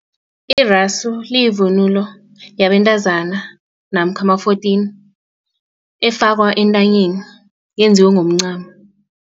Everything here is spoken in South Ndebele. Irasu liyivunulo yabentazana namkha ama-fourteen efakwa entanyeni yenziwe ngomncamo.